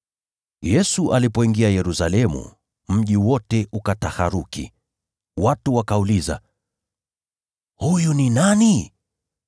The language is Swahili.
Yesu alipoingia Yerusalemu, mji wote ukataharuki, watu wakauliza, “Huyu ni nani?”